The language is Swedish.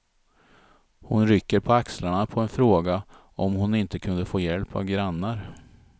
Hon rycker på axlarna på en fråga om hon inte kunde få hjälp av grannar.